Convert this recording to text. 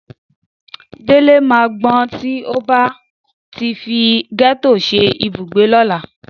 Délé máa gbọ́n tí ó bá ti fi gẹ́tò ṣe ibùgbé lọ́la.